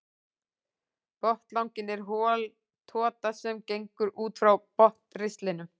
Botnlanginn er hol tota sem gengur út frá botnristlinum.